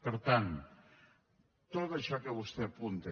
per tant tot això que vostè apunta